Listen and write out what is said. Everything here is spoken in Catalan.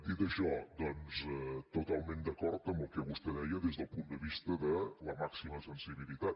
dit això doncs totalment d’acord amb el que vostè deia des del punt de vista de la màxima sensibilitat